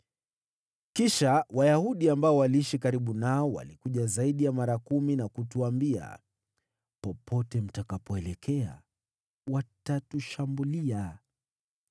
Kisha Wayahudi ambao waliishi karibu nao walikuja zaidi ya mara kumi na kutuambia, “Popote mtakapoelekea, watatushambulia.”